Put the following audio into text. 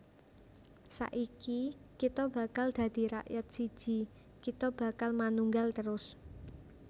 Saiki kita bakal dadi rakyat siji Kita bakal manunggal terus